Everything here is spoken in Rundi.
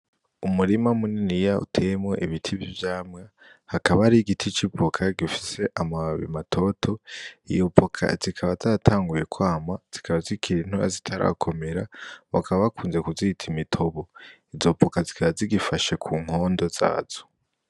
Umurima muniniya uteyemwo ibiti vy' ivyamwa hakaba hari igiti c'ivoka gifise amababi matoto iyo voka zikaba zatanguye kwama zikaba zikiri ntoya zitarakomera bakaba bakunze kuzita imitobo izo voka zikaba zigifashe ku nkondo zazo.